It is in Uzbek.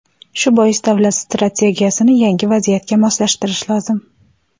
Shu bois davlat strategiyasini yangi vaziyatga moslashtirish lozim.